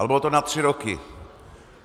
Ale bylo to na tři roky.